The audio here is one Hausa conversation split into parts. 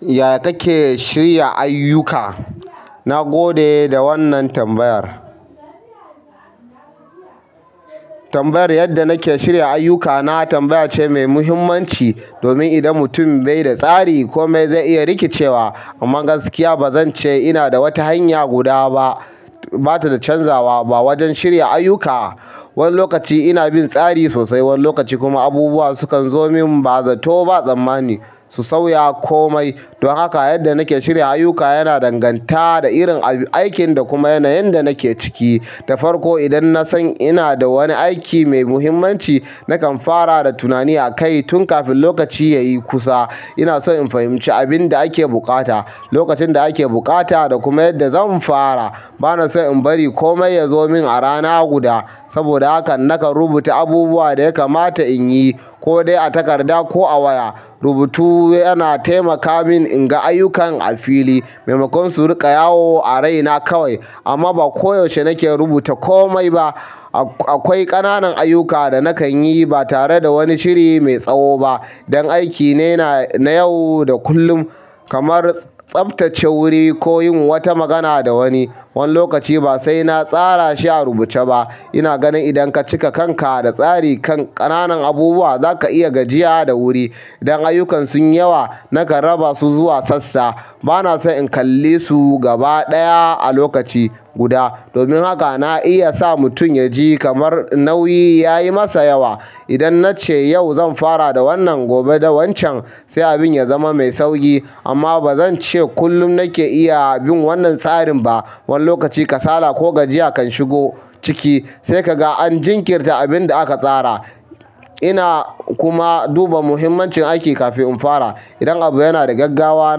Yaya kake shirya ayyuka? Na gode da wannan tambayar. Tambayar yadda nake shirya ayuka na tambaya ce mai muhimmanci domin idan mutum bai da tsari komai zai iya rikicewa. Amma gaskiya ba zan ce ina da wata hanya guda ba, ba ta canzawa ba wajen shirya ayyuka. Wani lokaci ina bin tsari sosai, wani lokaci kuma abubuwa sukan zo min ba zato ba tsammani su sauya komai. Don haka yadda nake shirya ayuka yana danganta da irin aikin da kuma yanayin da nake ciki. Da farko, idan na san ina da wani aiki mai muhimmanci, nakan fara da tunani akai tun kafin lokaci ya yi kusa. Ina so in fahimci abin da ake buƙata, lokacin da ake buƙata da kuma yadda zan fara. Bana so in bari komai ya zo min a rana guda saboda haka nakan rubuta abubuwan da ya kamata in yi ko dai a takarda ko a waya. Rubutu yana taimaka min in ga ayukan a fili maimakon su riƙa yawo a raina kawai. Amma ba koyaushe nake rubuta komai ba. Akwai ƙananan ayuka da nakan yi ba tare da wani shiri mai tsawo ba. Dan aiki ne na yau da kullum kamar tsaftace wuri ko yin wata magana da wani. Wani lokaci ba sai na tsara shi a rubuce ba. Ina ganin idan ka cika kanka da tsari ƙananan abubuwa, za ka iya gajiya da wuri. Idan ayukan sunyi yawa, nakan raba su zuwa sassa. Bana so in kalle su gaba ɗaya a lokaci guda domin haka na iya sa mutum ya ji kamar nauyi ya yi masa yawa. Idan na ce yau zan fara da wannan, gobe da wancan, sai abin ya zama mai sauƙi. Amma ba zan ce kullum nake iya bin wannan tsarin ba. Wani lokaci kasala ko gajiya kan shigo ciki sai ka ga an jinkirta abin da aka tsara. Ina kuma duba muhimmancin aiki kafin in fara. Idan abu yana da gaggawa,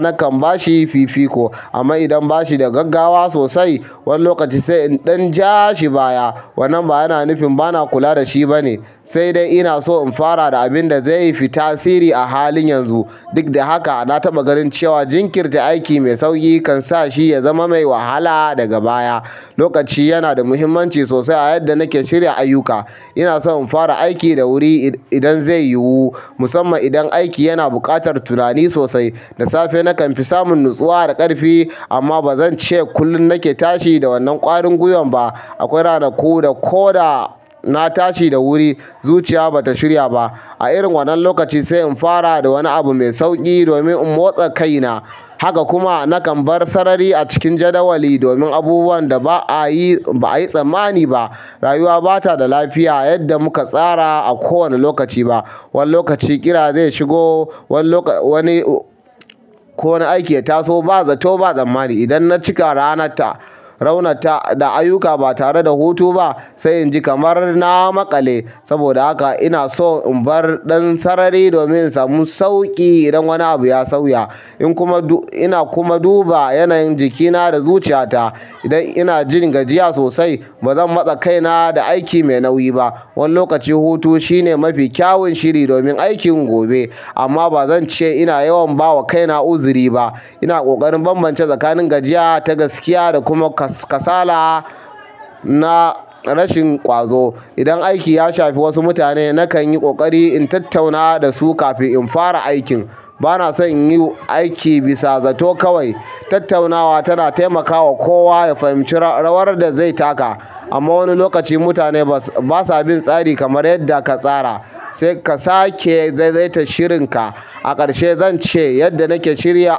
nakan ba shi fifiko. Amma idan ba shi da gaggawa sosai, wani lokaci sai in ɗan ja shi baya. Wannan ba yana nufin bana kula da shi ba ne, sai dai ina so in fara da abin da zai yi fita sirri a halin yanzu. Duk da haka, na taɓa ganin cewa jinkirta aiki mai sauƙi kan sa shi ya zama mai wahala daga baya. Lokaci yana da muhimmanci sosai a yadda nake shirya ayuka. Ina son in fara aiki da wuri idan zai yiwu, musamman idan aiki yana buƙatar tunani sosai. Da safe nakan fi samun nutsuwa da ƙarfi amma ba zan ce kullum nake tashi da wannan ƙwarin guyan ba. Akwai ranaku da ko da na tashi da wuri, zuciya ba ta shirya ba. A irin wannan lokaci sai in fara da wani abu mai sauƙi domin in motsa kaina. Haka kuma nakan bar sarari a cikin jadawali domin abubuwan da ba a yi, ba a yi tsammani ba. Rayuwa ba ta da lafiya yadda muka tsara a kowane lokaci ba. Wani lokaci ƙira zai shigo wani lokaci wani, ko wani aiki ya taso ba zato ba tsammani. Idan na cika ranarta raunar ta da ayyuka ba tare da hutu ba sai inji kamar na maƙale saboda haka ina so in bar ɗan sarari domin in samu sauƙi idan wani abu ya sauya. In kuma duk ina kuma duba yanayin jikina da zuciya ta idan ina jin gajiya sosai, ba zan matsa kaina da aiki mai nauyi ba. Wani lokaci hutu shine mafi kyawun shiri domin aikin gobe. Amma ba zan ce ina yawan ba wa kaina uzuri ba. Ina ƙoƙarin bambance tsakanin gajiya ta gaskiya da kuma kasala na rashin ƙwazo. Idan aiki ya shafi wasu mutane, nakan yi ƙoƙari in tattauna da su kafin in fara aikin. Bana son in yi aiki bisa zato kawai. Tattaunawa tana taimakawa kowa ya fahimci rawar da zai taka. Amma wani lokaci mutane ba sa bin tsari kamar yadda ka tsara sai ka sake zaitace shirinka. A ƙarshe zan ce yadda nake shirya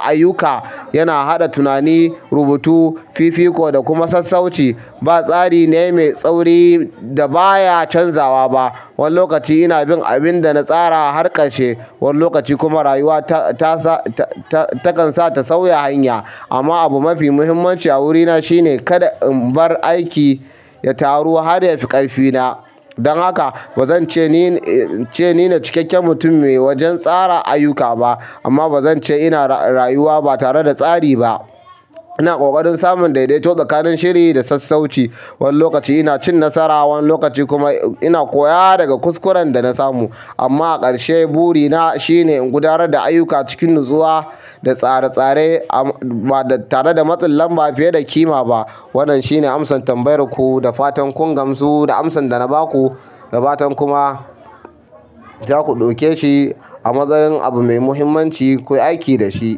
ayuka yana haɗa tunani, rubutu, fifiko da kuma sassauci. Ba tsari c ne mai tsauri da ba ya canzawa ba. Wani lokaci ina bin abin da na tsara har ƙarshe, wani lokaci kuma rayuwa ta, ta sa, ta kan sa ta sauya hanya. Amma abu mafi muhimmanci a wurina shine kada in bar aiki ya taru har ya fi ƙarfi na. Dan haka ba zan ce ni ne, ce ni ne cikakken mutum mai wajen tsara ayuka ba amma ba zan ce ina rayuwa ba tare da tsari ba. Ina ƙoƙarin samun daidaito tsakanin shiri da sassauci. Wani lokaci ina cin nasara, wani lokaci kuma ina koya daga kuskuren da na samu. Amma a ƙarshe buri na shine in guda nar da uyuka cikin natsuwa da tsare-tsare ba tare da matsin lamba fiye da ƙima bah. Wannan shine amsan tambayar ku da fatan kun gamsu da amsan da na ba ku da fatan kuma za ku ɗauke shi a matsayin abu mai muhimmanci kuyi aiki da shi.